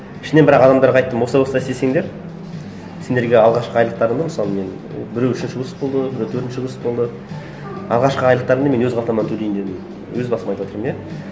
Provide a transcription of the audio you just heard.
ішінен бірақ адамдарға айттым осылай осылай істесеңдер сендерге алғашқы айлықтарыңды мысалы мен біреуі үшінші курс болды біреу төртінші курс болды алғашқы айлықтарыңды мен өз қалтамнан төлеймін дедім өз басым айтыватырмын иә